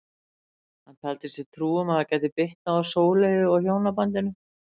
Hann taldi sér trú um að það gæti bitnað á Sóleyju og hjónabandinu.